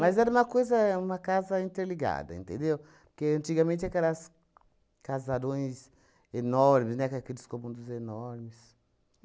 Mas era uma coisa uma casa interligada, entendeu? Porque antigamente aquelas casarões enormes, né, com aqueles comandos enormes.